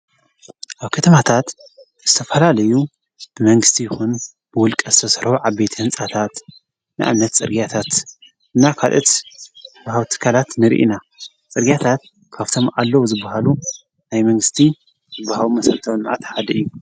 ኣብ ከተማታት ዝተፈላለዩ ብመንግሥቲ ይኹን ብውልቃ ዝተሠረው ዓበይት ሕንጻታት ጽርጋታት እና ኻድእት ብሃውትካላት ንርኢና ጸርጋታት ካብቶም አሎዉ ዝብሃሉ ናይ መንግሥቲ ዝብሃዊ መሠልተበን መዕት ሓድ እዩ፡፡